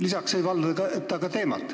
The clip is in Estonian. Lisaks ei valda ta ka teemat.